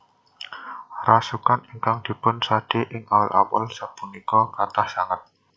Rasukan ingkang dipun sade ing awul awul sapunika kathah sanget